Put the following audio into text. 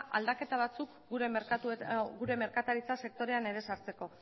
aldaketa batzuk gure merkataritza sektorean ere sartzeko